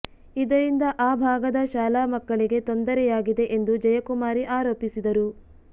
ಇದರಿಂದ ಆ ಭಾಗದ ಶಾಲಾ ಮಕ್ಕಳಿಗೆ ತೊಂದರೆಯಾಗಿದೆ ಎಂದು ಜಯಕುಮಾರಿ ಆರೋಪಿಸಿದರು